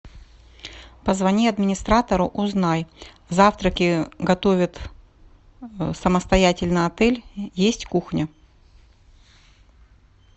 позвони администратору узнай завтраки готовит самостоятельно отель есть кухня